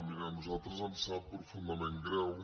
mirin a nosaltres ens sap profundament greu